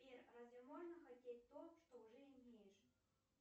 сбер разве можно хотеть то что уже имеешь